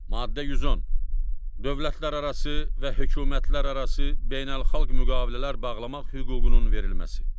Maddə 110. Dövlətlərarası və hökumətlərarası beynəlxalq müqavilələr bağlamaq hüququnun verilməsi.